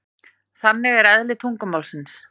Þannig er eðli tungumálsins.